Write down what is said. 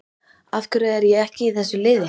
Af hverju er ég ekki í þessu liði?